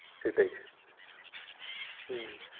সেটাই হুম।